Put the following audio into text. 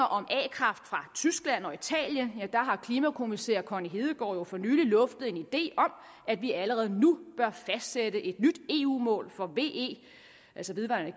om a kraft fra tyskland og italien har klimakommissær connie hedegaard jo for nylig luftet en idé om at vi allerede nu bør fastsætte et nyt eu mål for ve altså vedvarende